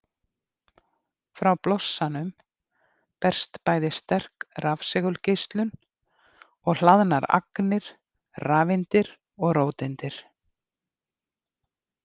Frá blossanum berst bæði sterk rafsegulgeislun og hlaðnar agnir, rafeindir og róteindir.